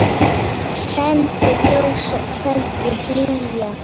Sendi ljós og kveðju hlýja.